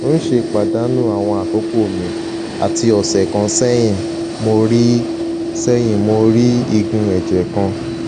n ṣe padanu awọn akoko mi ati ọsẹ kan sẹyin mo rii sẹyin mo rii igun ẹjẹ kan